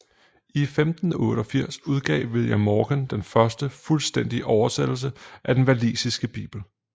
I 1588 udgav William Morgan den første fuldstændige oversættelse af den walisiske bibel